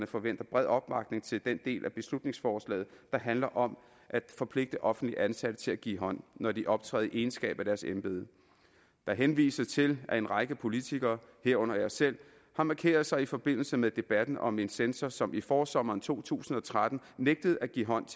forventer bred opbakning til den del af beslutningsforslaget der handler om at forpligte offentligt ansatte til at give hånd når de optræder egenskab af deres embede der henvises til at en række politikere herunder jeg selv har markeret sig i forbindelse med debatten om en censor som i forsommeren to tusind og tretten nægtede at give hånd